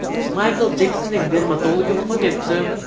Maykl Jeksonning dermatologi vafot etdi.